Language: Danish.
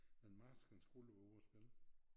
Men Marskens Guld var ovre og spille